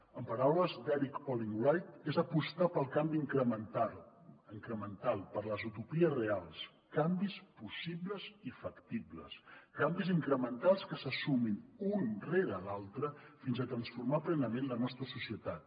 en paraules d’erik olin wright és apostar pel canvi incremental per les utopies reals canvis possibles i factibles canvis incrementals que se sumin un rere l’altre fins a transformar plenament la nostra societat